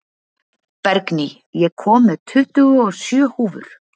Bergný, ég kom með tuttugu og sjö húfur!